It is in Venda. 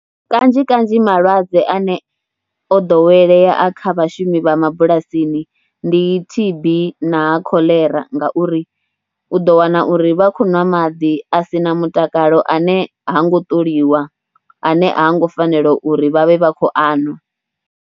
Kanzhi kanzhi malwadze ane o ḓowelea a kha vhashumi vha mabulasini ndi T_B na Kholera ngauri u ḓo wana uri vha khou nwa maḓi a si na mutakalo ane ha ngo ṱoliwa ane ha ngo fanela uri vha vhe vha khou a nwa.